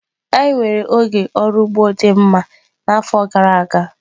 Anyị nwere oge ọrụ ugbo dị mma n'afọ gara aga.